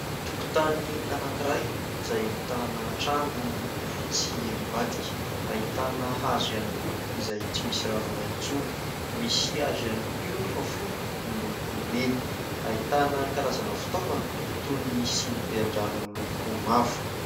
tokontany anankiray izay ahitana trano miloko fotsy eny ambadika, ahitana hazo ihany koa izay tsy misy ravina intsony, misy hazo ihany koa eo fa fohy miloko mena , ahitana karazana fitaovana toy ny sinibe an-drano miloko mavo